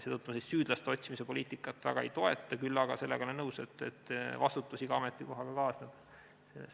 Seetõttu ma süüdlaste otsimise poliitikat väga ei toeta, küll aga olen nõus, et vastutus iga ametikohaga kaasneb.